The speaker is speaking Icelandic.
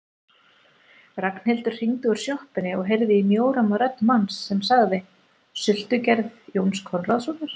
Ragnhildur hringdi úr sjoppunni og heyrði í mjóróma rödd manns sem sagði: Sultugerð Jóns Konráðssonar